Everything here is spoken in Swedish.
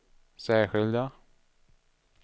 särskilda